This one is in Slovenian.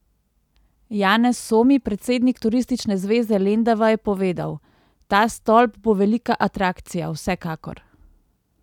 Janez Somi, predsednik Turistične zveze Lendava, je povedal: "Ta stolp bo velika atrakcija, vsekakor.